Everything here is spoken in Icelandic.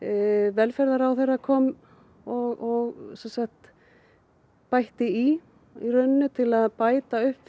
velferðarráðherra kom og sem sagt bætti í rauninni til að bæta upp